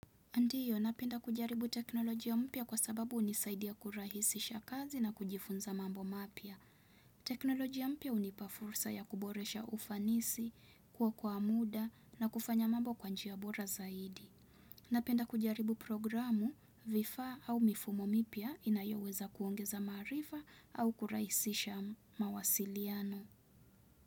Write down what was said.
Ndiyo, napenda kujaribu teknolojia mpya kwa sababu hunisaidia kurahisisha kazi na kujifunza mambo mapya. Teknolojia mpya hunipa fursa ya kuboresha ufanisi, kuokoa muda na kufanya mambo kwa njia bora zaidi. Napenda kujaribu programu vifaa au mifumo mipya inayoweza kuongeza maarifa au kurahisisha mawasiliano.